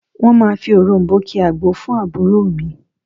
Wọ́n máa fi òròm̀bó ki agbo fún àbúrò mi